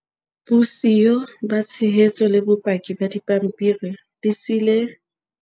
Bosiyo ba tshehetso le bopaki ba dipampiri di se di ile tsa kenya bahiri ba bangata mathateng.